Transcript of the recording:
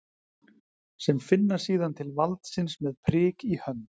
Sem finna síðan til valdsins með prik í hönd?